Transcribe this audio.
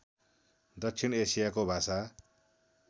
दक्षिण एसियाको भाषा